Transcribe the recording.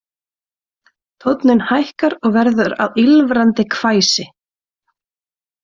Tónninn hækkar og verður að ýlfrandi hvæsi